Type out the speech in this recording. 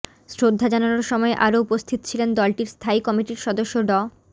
শ্রদ্ধা জানানোর সময় আরো উপস্থিত ছিলেন দলটির স্থায়ী কমিটির সদস্য ড